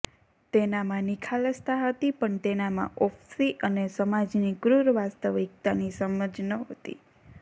તેનામાં નિખાલસતા હતી પણ તેનામાં ઓફ્સિ અને સમાજની ક્રૂર વાસ્તવિકતાની સમજ નહોતી